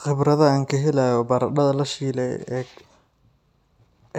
Khibradda aan ka helayo baradhada la shilay ee